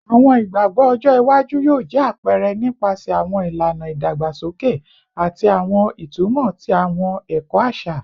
Awọn igbagbọ ọjọ iwaju yoo jẹ apẹrẹ nipasẹ awọn ilana idagbasoke ati awọn itumọ ti awọn ẹkọ aṣa